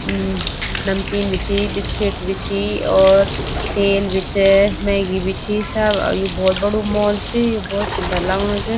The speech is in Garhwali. म नमकीन भी छी बिस्कुट भी छी और तेल भी च मैगी भी च सब और यु भोत बड़ू मॉल च यु भोत सुन्दर लगणु च।